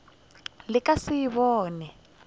le ka se e bone